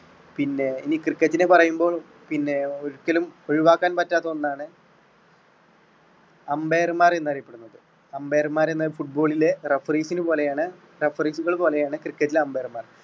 പിന്നെ ഈ cricket നെ പറയുമ്പോൾ പിന്നെ ഒരിക്കലും ഒഴിവാക്കാൻ പറ്റാത്ത ഒന്നാണ് umpire മാർ എന്ന് അറിയപ്പെടുന്നത് umpire മാർ എന്നാൽ football ലെ referees നെ പോലെയാണ് referee കൾ പോലെയാണ് cricket ലെ umpire മാർ.